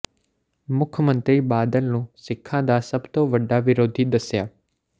ਮੁੱਖ ਮੰਤਰੀ ਬਾਦਲ ਨੂੰ ਸਿੱਖਾਂ ਦਾ ਸਭ ਤੋਂ ਵੱਡਾ ਵਿਰੋਧੀ ਦੱਸਿਆ